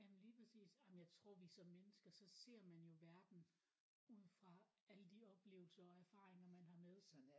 Jamen lige præcis jamen jeg tror vi som mennesker så ser man jo verden ud fra alle de oplevelser og erfaringer man har med sig